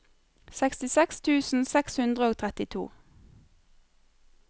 sekstiseks tusen seks hundre og trettito